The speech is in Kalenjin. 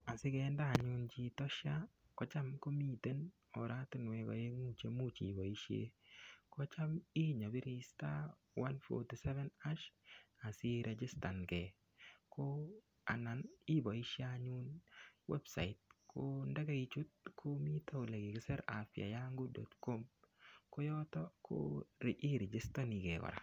Asikende anyun chito SHA kocham komiten oratinwek oeng'u cheimuuch iboishe kocham inyopiri *147# asiregistan gei anan iboishe anyun website ko ndikeichut komito ole kikiser afyayangu.com koyoto irigitonigei kora